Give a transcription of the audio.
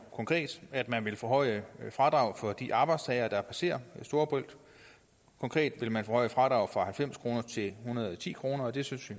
konkret at man vil forhøje fradraget for de arbejdstagere der passerer storebælt konkret vil man forhøje fradraget fra halvfems kroner til en hundrede og ti kroner det synes